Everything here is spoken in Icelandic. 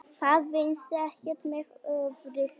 Það vinnist ekkert með offorsi.